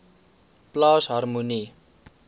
plaas harmonie